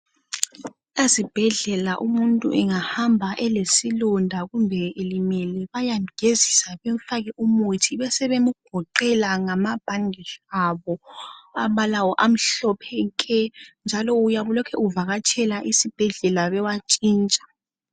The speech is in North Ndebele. Ezibhedlela umuntu angahamba elesilonda kumbe elimele bayamgezisa bemfake umuthi besebemgoqela ngama bhandeji abo amhlophe nke. Kumele uhlalahlale ubuyele khona beyewatshintsha.